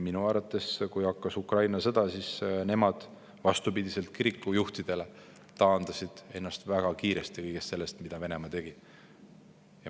Minu teada on nii, et kui hakkas Ukraina sõda, siis nemad vastupidi kirikujuhtidele taandasid ennast väga kiiresti kõigest sellest, mida Venemaa tegi.